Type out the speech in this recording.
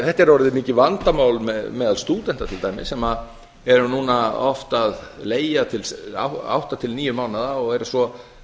þetta er orðið mikið vandamál meðal stúdenta til dæmis sem eru núna oft að leigja til átta til níu mánaða og eru svo